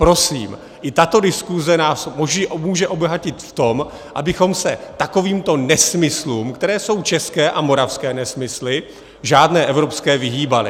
Prosím, i tato diskuze nás může obohatit v tom, abychom se takovýmto nesmyslům - které jsou české a moravské nesmysly, žádné evropské - vyhýbali.